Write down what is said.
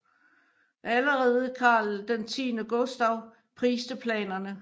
Allerede Karl X Gustav priste planerne